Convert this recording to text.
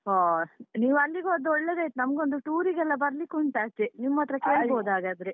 ಒಹ್ ನೀವು ಅಲ್ಲಿಗೆ ಹೋದ್ದು ಒಳ್ಳೆದಾಯ್ತು ನಮ್ಗೊಂದು tour ಗೆಲ್ಲ ಬರ್ಲಿಕುಂಟು ಆಚೆ. ನಿಮ್ಮತ್ರ ಕೇಳ್ಬೋದು ಹಾಗಾದ್ರೆ